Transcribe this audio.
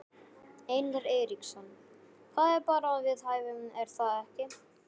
Einar Eiríksson: Það er bara við hæfi er það ekki?